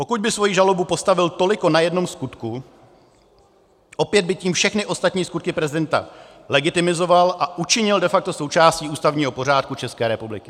Pokud by svoji žalobu postavil toliko na jednom skutku, opět by tím všechny ostatní skutky prezidenta legitimizoval a učinil de facto součástí ústavního pořádku České republiky.